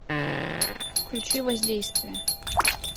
включи воздействие